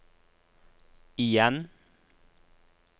igjen